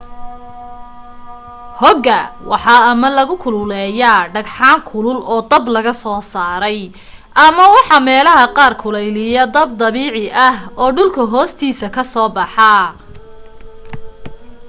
hogga waxa ama lagu kululeeyaa dhagxaan kulul oo dab laga soo saaray ama waxa meelaha qaar kuleeliya dab dabiica ah oo dhulka hoostiisa ka soo baxa